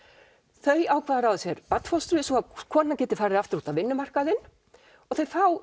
þau ákveða að ráða sér barnfóstru svo konan geti farið aftur út á vinnumarkaðinn og þau fá